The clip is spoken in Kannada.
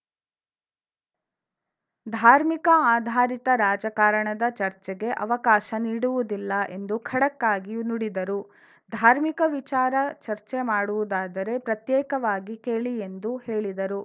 ಧಾರ್ಮಿಕ ಆಧಾರಿತ ರಾಜಕಾರಣದ ಚರ್ಚೆಗೆ ಅವಕಾಶ ನೀಡುವುದಿಲ್ಲ ಎಂದು ಖಡಕ್‌ ಆಗಿ ನುಡಿದರು ಧಾರ್ಮಿಕ ವಿಚಾರ ಚರ್ಚೆ ಮಾಡುವುದಾದರೆ ಪ್ರತ್ಯೇಕವಾಗಿ ಕೇಳಿ ಎಂದು ಹೇಳಿದರು